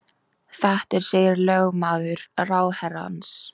Þetta segir lögmaður ráðherrans